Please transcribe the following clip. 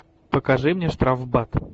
покажи мне штрафбат